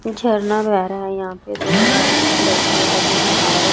झरना बह रहा है यहाँ पे दो आदमी लड़किया जो नहा रही--